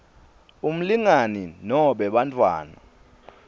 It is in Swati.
umlingani nobe bantfwana